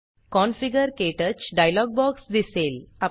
configure - क्टच dialog box दिसेल